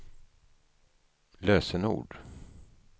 lösenord